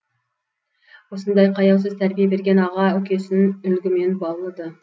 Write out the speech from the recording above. осындай қаяусыз тәрбие берген аға үкесін үлгімен баулыды